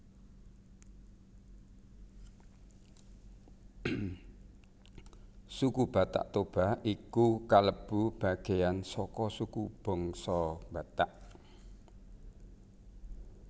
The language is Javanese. Suku Batak Toba iku kalebu bagéyan saka suku bangsa Batak